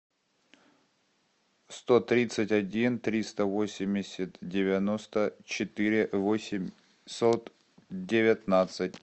сто тридцать один триста восемьдесят девяносто четыре восемьсот девятнадцать